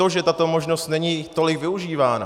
To, že tato možnost není tolik využívána...